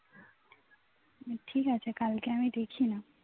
ঠিক আছে কালকে দেখি না